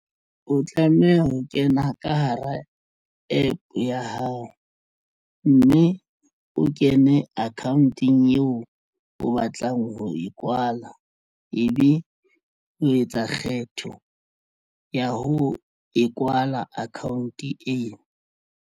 O tlameha ho kena ka hara APP ya hao mme o kene account-ong eo o batlang ho e kwala ebe o etsa kgetho ya ho e kwala account e.